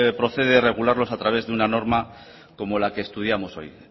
procede regularlos a través de una norma como la que estudiamos hoy